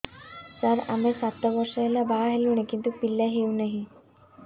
ସାର ଆମେ ସାତ ବର୍ଷ ହେଲା ବାହା ହେଲୁଣି କିନ୍ତୁ ପିଲା ହେଉନାହିଁ